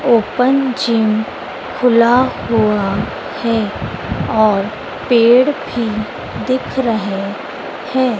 Open gym खुला हुआ है और पेड़ भी दिख रहे हैं।